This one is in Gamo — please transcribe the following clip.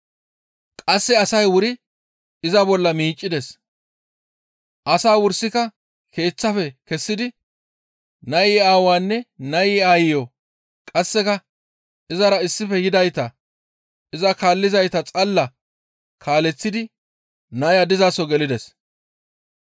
Qasse asay wuri iza bolla miiccides; asaa wursika keeththaafe kessidi nayi aawaanne nayi aayiyo qasseka izara issife yidayta iza kaallizayta xalla kaaleththidi naya dizaso gelides.